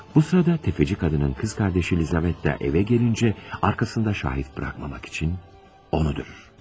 Bu sırada tefeci kadının kız kardeşi Lizavetta eve gelince arkasında şahit bırakmamak için onu da öldürür.